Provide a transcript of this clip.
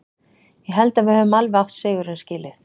Ég held að við höfum alveg átt sigurinn skilinn.